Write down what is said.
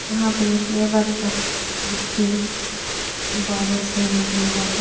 यहाँ पे लेबर सब गिट्टी बालू सीमेंट मिला के --